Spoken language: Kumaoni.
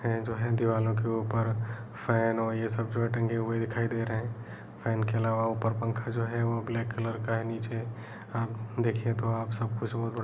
ये जो है दीवालों के ऊपर फैन और ये सब जो हैं टंगे हुए दिखाई दे रहे हैं फैन के अलावा ऊपर पंखा जो है वो ब्लैक कलर का है नीचे आप देखिए तो आप सबकुछ बहोत बड़ --